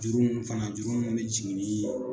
Juru mun fana juru mun be jigin nii